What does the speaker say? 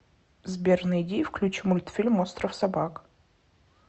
сбер найди и включи мультфильм остров собак